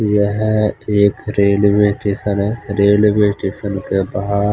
यह एक railway station है रेलवे टेशन के बाहर--